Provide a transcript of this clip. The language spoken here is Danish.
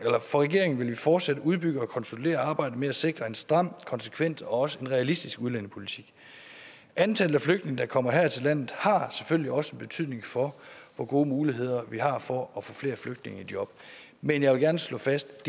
regering vil vi fortsat udbygge og konsolidere arbejdet med at sikre en stram konsekvent og også realistisk udlændingepolitik antallet af flygtninge der kommer her til landet har selvfølgelig også en betydning for hvor gode muligheder vi har for at få flere flygtninge i job men jeg vil gerne slå fast